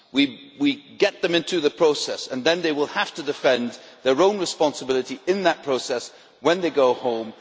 We will get them into the process and then they will have to defend their own responsibility in that process when they go home.